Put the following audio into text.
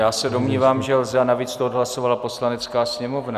Já se domnívám, že lze, a navíc to odhlasovala Poslanecká sněmovna.